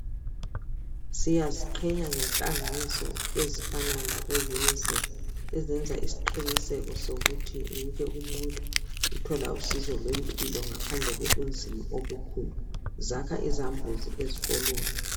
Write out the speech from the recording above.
Siyaziqhenya ngenhlanganiso ezifana labo UNICEF ezenza isqiniseko sokuthi wonke umuntu uthola usizo lwempilo ngaphandle ngobunzima obukhona, zakha izambuzi ezikolweni.